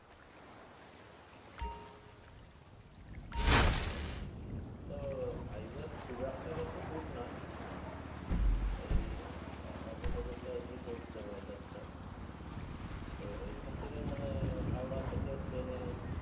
আচ্ছা আচ্ছা তো ভাইজ্যাক খুব একটা বেশি দূর না এই অন্ধ্রপ্রদেশে আরকি পড়ছে ভাইজ্যাকটা, তো এইখান থেকে মানে হাওড়া থেকে train এ